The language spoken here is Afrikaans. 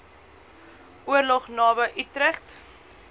oorlog naby utrecht